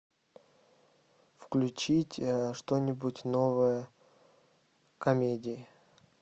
включить что нибудь новое комедии